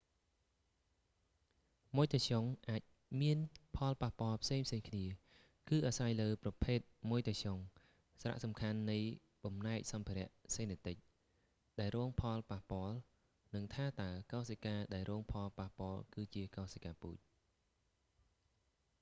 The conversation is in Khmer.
ម៉ុយតាស្យុងអាចមានផលប៉ះពាល់ផ្សេងៗគ្នា គឺអាស្រ័យលើប្រភេទម៉ុយតាស្យុង សារៈសំខាន់នៃបំណែកសម្ភារៈសេនេទិច ដែលរងផលប៉ះពាល់ និងថាតើកោសិកាដែលរងផលប៉ះពាល់ គឺជាកោសិកាពូជ